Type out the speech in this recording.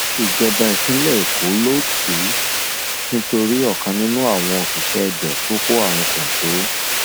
ìjọba ìpínlẹ èkó ló tì í nítorí ọkan nínú àwọn òṣìṣẹ ibẹ tó kó àrùn kọńtò